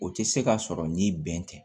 O tɛ se ka sɔrɔ ni bɛn tɛ